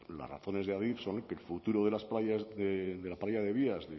las razones de adif son que el futuro de las playas de la playa de vías